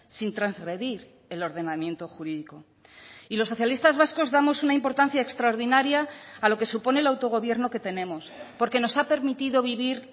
sin transgredir el ordenamiento jurídico y los socialistas vascos damos una importancia extraordinaria a lo que supone el autogobierno que tenemos porque nos ha permitido vivir